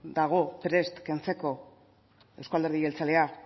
dago prest kentzeko euzko alderdi jeltzaleak